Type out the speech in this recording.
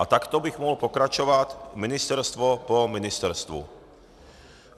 A takto bych mohl pokračovat ministerstvo po ministerstvu.